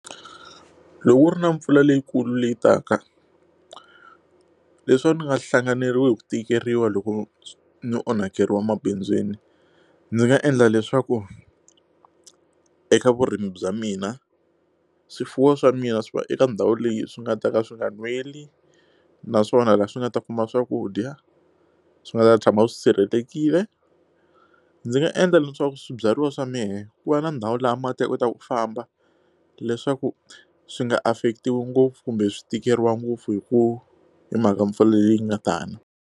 Loko ku ri na mpfula leyikulu leyi taka leswaku ni nga hlanganeriwi hi ku tikeriwa loko ni onhakeriwa emabindzwini ndzi nga endla leswaku eka vurimi bya mina swifuwo swa mina swi va eka ndhawu leyi swi nga ta ka swi nga nweli naswona laha swi nga ta kuma swakudya swi nga ta tshama swi sirhelelekile ndzi nga endla leswaku swibyariwa swa mehe ku va na ndhawu laha mati ya kotaku ku famba leswaku swi nga affecti-iwi ngopfu kumbe swi tikeriwa ngopfu hi ku hi mhaka mpfula leyi nga ta na.